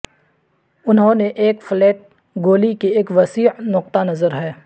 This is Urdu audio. انہوں نے ایک فلیٹ گولی کی ایک وسیع نقطہ نظر ہے